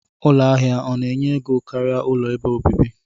Ụlọ ahia ọna enye ego karia ụlọ ebe obibi?